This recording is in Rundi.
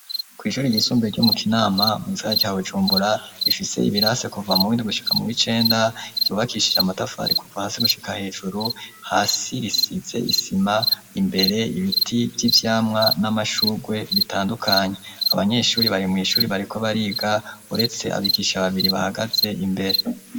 Kw'ishure ry'isumbuye ryo mu kinama mu gisagara ca Bujumbura rifise ibirasi kuva mu windwi gushaka mu wicenda ryubakishije amatafari kuva hasi gushika hejuru hasi risize isima imbere ibiti vyivyamwa n'amashugwe bitandukanye abanyeshuri bari mw'ishure bariko bariga uretse abigisha babiri bahagaze imbere.